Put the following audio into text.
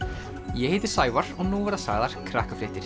ég heiti Sævar og nú verða sagðar